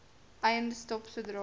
eiendom stop sodra